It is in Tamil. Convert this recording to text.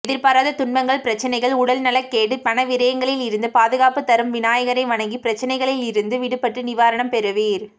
எதிர்பாராத துன்பங்கள் பிரச்சனைகள் உடல்நலக்கேடு பணவிரயங்களில் இருந்து பாதுகாப்பு தரும் விநாயகரை வணங்கி பிரச்சனைகளில் இருந்து விடுபட்டு நிவாரணம் பெறுவீர்